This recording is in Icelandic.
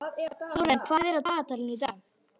Þórarinn, hvað er á dagatalinu í dag?